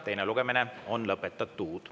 Teine lugemine on lõpetatud.